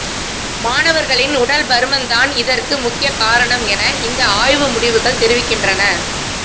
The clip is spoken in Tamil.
மாணவர்களின் உடல் பருமன் தான் இதற்கு முக்கிய காரணம் என இந்த ஆய்வு முடிவுகள் தெரிவிக்கின்றன்